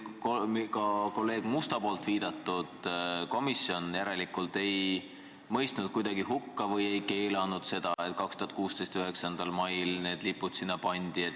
Ja ka kolleeg Musta viidatud komisjon ei mõistnud seda kuidagi hukka või ei keelanud seda, et 2016. aasta 9. mail need lipud sinna pandi.